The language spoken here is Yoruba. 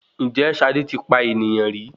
Ǹjẹ́ Ṣadé ti pa eniyan rí.